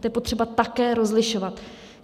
To je potřeba také rozlišovat.